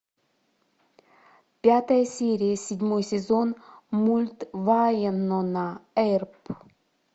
пятая серия седьмой сезон мульт вайнона эрп